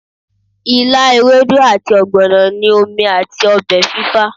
ìlá, ewedu ati ogbono ni omi ati ọbẹ fifa